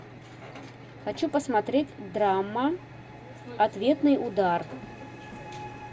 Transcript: хочу посмотреть драма ответный удар